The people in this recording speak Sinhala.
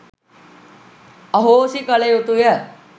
අහෝසි කලයුතුය